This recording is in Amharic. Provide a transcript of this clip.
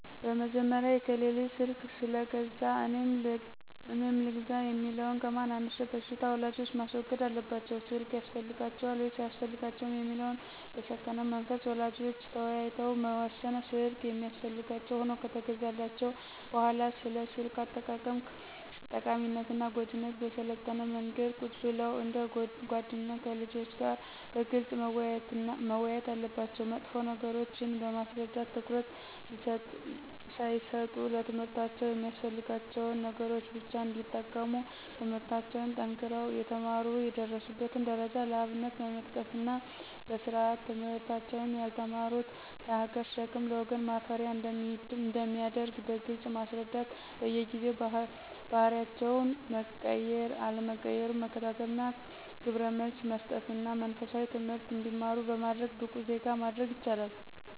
በመጀመሪያ የከሌ ልጅ ስልክ ስለገዛ እኔም ልግዛ የሚለውን ከማን አንሸ በሽታ ወላጆች ማስወገድ አለባቸው ስልክ ያስፈልጋቸዋል ወይስ አያስፈልጋቸውም የሚለውን በሰከነ መንፈስ ወላጆች ተወያይተው መወሰን ስልክ የሚያስፈልጋቸው ሁኖ ከተገዛላቸው በሁዋላ ስለ ስልክ አጠቃቀም ጠቃሚነትና ጎጅነት በሰለጠነ መንገድ ቁጭ ብለው እንደ ጎደኛ ከልጆች ጋር በግልጽ መወያየት አለባቸው መጥፎ ነገሮችን በማስረዳት ትኩረት ሳይሰጡ ለትምህርታቸው የሚያስፈልጋቸውን ነገሮች ብቻ እንዲጠቀሙ ትምለህርታቸውን ጠንክረው የተማሩ የደረሱበትን ደረጃ ለአብነት በመጥቀስና በስርአት ትምህርታቸውን ያልተማሩት ለሀገር ሸክም ለወገን ማፈሪያ አንደሚያደርግ በግልጽ ማስረዳት በየጊዜው ባህሪያቸው መቀየር አለመቀየሩን መከታተልና ግብረመልስ መሰጠትና መንፈሳዊ ትምህርት እንዲማሩ በማድረግ ብቁ ዜጋ ማድረግ ይችላሉ።